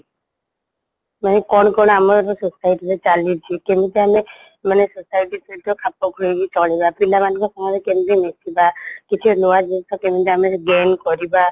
ମାନେ କ'ଣ କ'ଣ ଆମର society ରେ ଚାଲିଛି କେମିତି ଆମେ ମାନେ society ସହିତ ଖାପଖୁଆଇକି ଚଲିବା ପିଲାମାନଙ୍କ ସାଙ୍ଗରେ କେମିତି ମିଶିବା କେମିତି ନୂଆ ଜିନିସ ଆମେ gain କରିବା